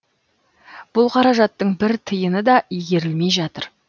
бұл қаражаттың бір тиыны да игерілмей жатыр